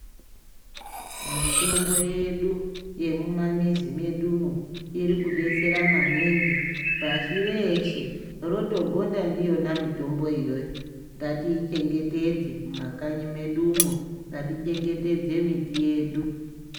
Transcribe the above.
Mitombo yedu yemumamizi medumo irikudetsera maningi pashi reshe rotogonda ndiyona mitombo iyoyo ngatiichengetedze mumakanyi medumo. Ngatiichengetedze miti yedu.